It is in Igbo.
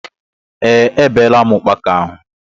Ee, E beela m ukpaka ahụ.